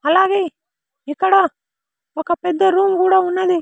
అలాగే ఇక్కడ ఒక పెద్ద రూమ్ కూడా ఉన్నది.